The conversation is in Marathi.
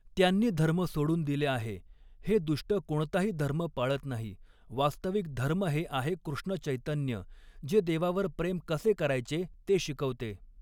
त्यांनी धर्म सोडून दिले आहे हे दुष्ट कोणताही धर्म पाळत नाही वास्तविक धर्म हे आहे कृष्ण चैतन्य जे देवावर प्रेम कसे करायचे ते शिकवते.